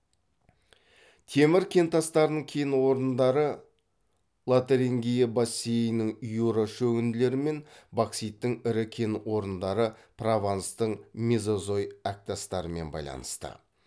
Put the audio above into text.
темір кентастарының кен орындары лотарингия бассейнінің юра шөгінділерімен бокситтің ірі кен орындары прованстың мезозой әктастарымен байланысты